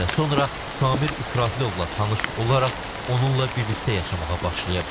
Bir həftə sonra Samir İsrafilovla tanış olaraq onunla birlikdə yaşamağa başlayıb.